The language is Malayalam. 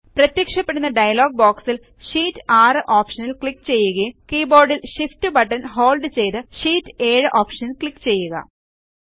പ്രത്യക്ഷപ്പെടുന്ന ഡയലോഗ് ബോക്സിൽSheet 6 ഓപ്ഷൻ ക്ലിക്ക് ചെയ്യുകയും കീബോർഡിൽ Shift ബട്ടൺ ഹോൾഡ് ചെയ്ത് ഷീറ്റ് 7 ഓപ്ഷനിൽ ക്ലിക്ക് ചെയ്യുക